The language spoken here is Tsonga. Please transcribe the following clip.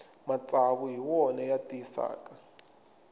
matsavu hi wona ya tiyisaka